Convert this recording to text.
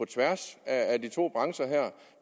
tværs af de to brancher her